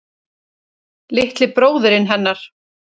Litli bróðirinn hennar.